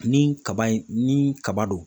Ni kaba in ni kaba dɔ